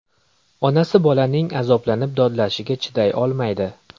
Onasi bolaning azoblanib dodlashiga chiday olmaydi.